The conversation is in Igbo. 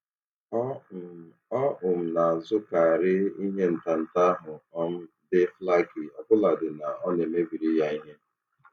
Ọ um Ọ um na-azụkarị ihe ntanta ahụ um dị flaky ọbụladị na ọ na-emebiri ya ihe.